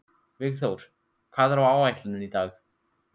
Vígþór, hvað er á áætluninni minni í dag?